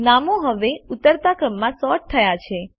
નામો હવે ઉતરતા ક્રમમાં સૉર્ટ થયા છે